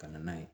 Ka na n'a ye